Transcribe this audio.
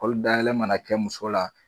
Kɔlidayɛlɛ ma na kɛ muso la.